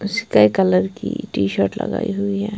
इसका कलर की T shirt --